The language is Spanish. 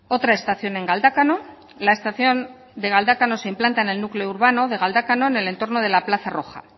otra estación en galdácano la estación de galdácano se implanta en el núcleo urbano de galdácano en el entorno de la plaza roja